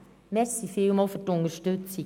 Vielen Dank für die Unterstützung.